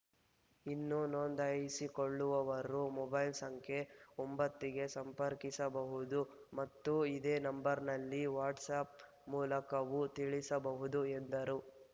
ಇನ್ನೂ ನೋಂದಾಯಿಸಿಕೊಳ್ಳುವವರು ಮೊಬೈಲ್ ಸಂಖ್ಯೆ ಒಂಬತ್ತ ಗೆ ಸಂಪರ್ಕಿಸಬಹುದು ಮತ್ತು ಇದೇ ನಂಬರ್‌ನಲ್ಲಿ ವಾಟ್ಸ ಆ್ಯಪ್‌ ಮೂಲಕವೂ ತಿಳಿಸಬಹುದು ಎಂದರು